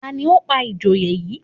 Ta ni ó pa ìjòyè yìí